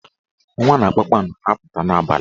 Ọnwa na kpakpando na-apụta n'abalị.